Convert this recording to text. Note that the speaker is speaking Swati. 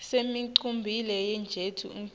sinemculo we jeni wetinsimb